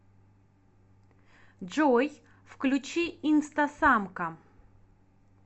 джой включи инстасамка